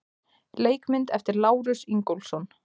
Leikmynd eftir Lárus Ingólfsson.